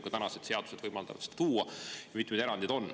Ka tänased seadused võimaldavad seda tuua ja mitmeid erandeid on.